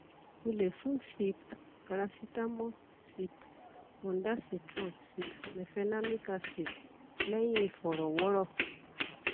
o le fun sip paracetamol sip ondansetron sip mefenamic acid lẹhin ifọrọwọrọ